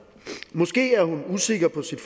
måske er hun usikker på sit